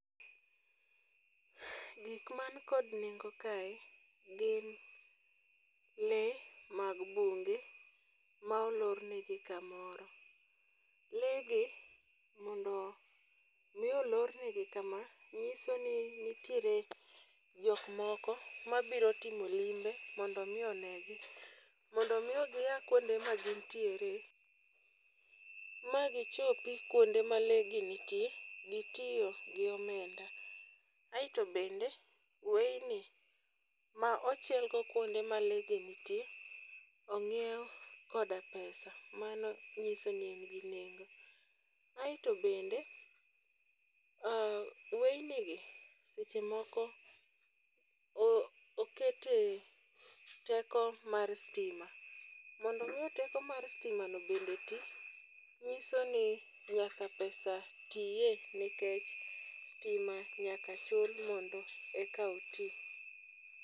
Gik man kod nengo kae gin lee mag bunge ma olorne gi kamoro. Lee gi mondo mi olor ne gi kama, nyiso ni nitiere jok moko ma biro timo limbe mondo mi onegi. Mondo miyo gia kuonde ma gintiere ma gichopi kuonde ma lee gi nitie, gitiyo gi omenda. Aeto bende weyni ma ochengo kuonde ma lee gi nitie, ong'iew koda pesa, mano nyiso ne e gi nengo. Aeto to bende, weyni gi seche moko okete teko mar stima. Mondo miyo teko mar stima no bende ti, ng'iso ni nyaka pesa tiye nikech stima nyaka chul mondo eka oti.